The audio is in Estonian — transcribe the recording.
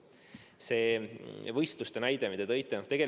Nüüd see võistluste näide, mille te tõite.